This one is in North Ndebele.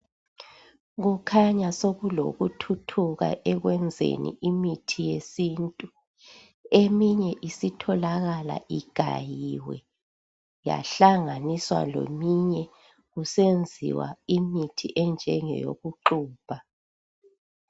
Kukhanya sokulokuthuthuka ekwenzani imithi yesintu eminye isitholakala igayiwe yahlanganiswa leminye kusenziwa imithi enjenge yokuxubha.